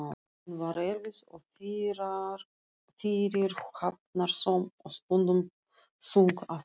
Hún var erfið og fyrirhafnarsöm og stundum þung á fótinn.